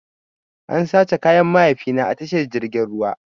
An sace kayan mahaifina a tashar jirgin ruwan.